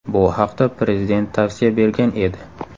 Bu haqda Prezident tavsiya bergan edi.